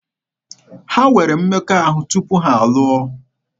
Ha nwere mmekọahụ tupu ha alụọ.